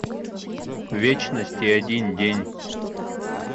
вечность и один день